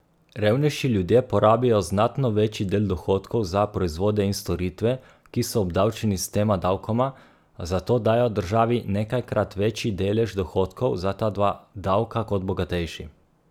Revnejši ljudje porabijo znatno večji del dohodkov za proizvode in storitve, ki so obdavčeni s tema davkoma, zato dajo državi nekajkrat večji delež dohodkov za ta dva davka kot bogatejši.